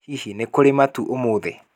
Hihi nĩ kũrĩ matu ũmũthĩ